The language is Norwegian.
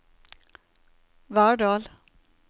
Verdal